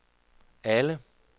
alle